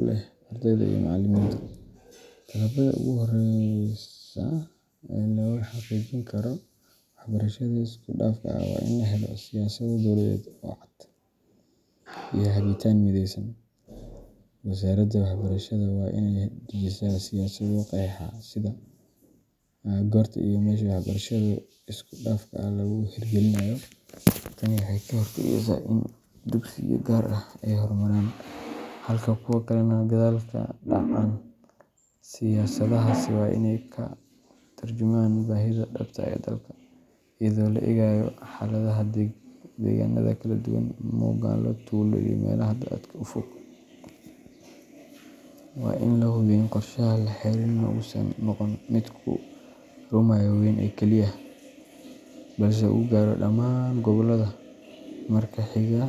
u leh ardayda iyo macallimiinta. Tallaabada ugu horreysa ee lagu xaqiijin karo waxbarashada isku dhafka ah waa in la helo siyaasado dowladeed oo cad iyo hagitaan midaysan. Wasaaradda Waxbarashada waa inay dejisaa siyaasado qeexaya sida, goorta, iyo meesha waxbarashada isku dhafka ah lagu hirgelinayo. Tani waxay ka hortagaysaa in dugsiyo gaar ah ay hormaraan halka kuwo kalena gadaal ka dhacaan. Siyaasadahaasi waa inay ka tarjumaan baahida dhabta ah ee dalka, iyadoo la eegayo xaaladaha deegaanada kala duwan magaalo, tuulo, iyo meelaha aadka u fog. Waa in la hubiyaa in qorshaha la hirgelinayo uusan noqon mid ku eg xarumaha waaweyn oo kaliya, balse uu gaaro dhammaan gobollada.